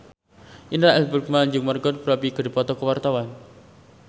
Indra L. Bruggman jeung Margot Robbie keur dipoto ku wartawan